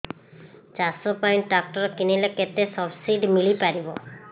ଚାଷ ପାଇଁ ଟ୍ରାକ୍ଟର କିଣିଲେ କେତେ ସବ୍ସିଡି ମିଳିପାରିବ